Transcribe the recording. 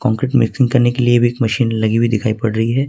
Concrete mixing करने के लिए भी मशीन लगी हुई दिखाई पड़ रही है।